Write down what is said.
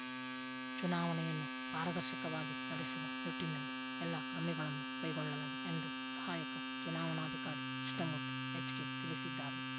ಚುನಾವಣೆಯನ್ನು ಪಾರದರ್ಶಕವಾಗಿ ನಡೆಸುವ ನಿಟ್ಟಿನಲ್ಲಿ ಎಲ್ಲಾ ಕ್ರಮಗಳನ್ನು ಕೈಗೊಳ್ಳಲಾಗಿದೆ ಎಂದು ಸಹಾಯಕ ಚುನಾವಣಾಧಿಕಾರಿ ಕೃಷ್ಣಮೂರ್ತಿ ಎಚ್ಕೆ ತಿಳಿಸಿದ್ದಾರೆ